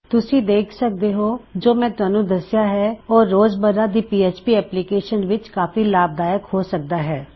ਤੁਸੀ ਦੇਖ ਸਕਦੇ ਹੋਂ ਜੋ ਮੈਂ ਤੁਹਾਨੂੰ ਦੱਸਿਆ ਹੈ ਓਹ ਰੋਜ਼ਮੱਰਾ ਦੀ ਪੀਐਚਪੀ ਐਪਲਿਕੇਇਸ਼ਨਸ ਵਿੱਚ ਕਾਫੀ ਲਾਭ ਦਾਇਕ ਹੋ ਸਕਦਾ ਹੈ